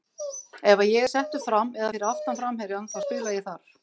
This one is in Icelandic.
Ef að ég er settur fram eða fyrir aftan framherjann þá spila ég þar.